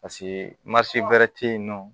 Paseke wɛrɛ tɛ yen nɔ